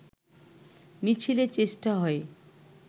মিছিলের চেষ্টা হয়